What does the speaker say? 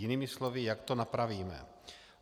Jinými slovy, jak to napravíme?